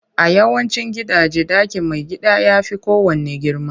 A yawancin gidaje, ɗakin maigida ya fi kowanne girma